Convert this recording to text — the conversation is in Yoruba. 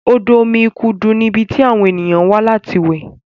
odo omí ikudu ní ibí tí àwọn ènìyàn wá láti we